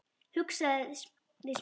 hugsaði Smári.